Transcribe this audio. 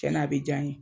Cɛn na a bɛ diya n ye